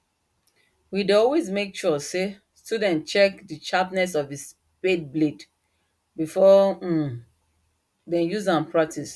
we dey always make sure say student check the sharpness of the spade blade before um them use am practice